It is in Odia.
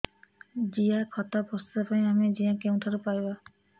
ଜିଆଖତ ପ୍ରସ୍ତୁତ ପାଇଁ ଆମେ ଜିଆ କେଉଁଠାରୁ ପାଈବା